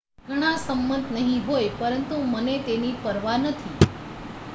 """ઘણા સંમત નહી હોય પરંતુ મને તેની પરવા નથી.